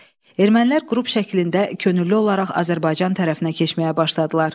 Ermənilər qrup şəklində könüllü olaraq Azərbaycan tərəfinə keçməyə başladılar.